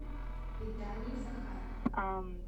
виталий захаров